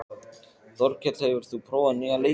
Þorkell, hefur þú prófað nýja leikinn?